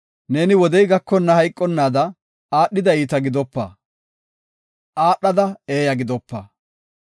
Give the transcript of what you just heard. Neeni wodey gakonna hayqonnaada aadhida iita gidopa; aadhada eeya gidopa.